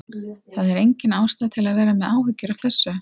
Það er engin ástæða til að vera með áhyggjur af þessu.